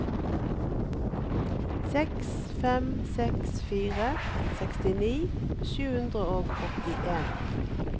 seks fem seks fire sekstini sju hundre og åttien